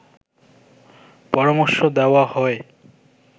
পরামর্শ দেওয়া হয়